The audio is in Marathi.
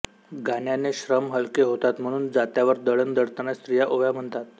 गाण्याने श्रम हलके होतात म्हणून जात्यावर दळण दळताना स्त्रिया ओव्या म्हणतात